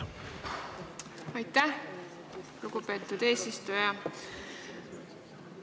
Aitäh, lugupeetud eesistuja!